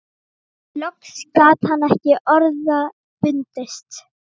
Loks gat hann ekki orða bundist